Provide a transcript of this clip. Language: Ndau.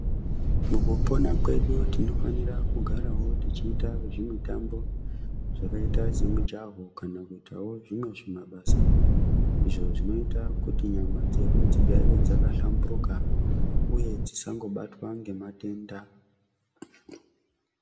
Mukupona kwedu tinofanira kugarawo tichiita zvimitambo zvakaita semujaho kana kuitawo zvimwe zvimabasa izvo zvinoita kuti nyama dzedu dzigare dzakahlamburika uye dzisangobatwa ngematenda.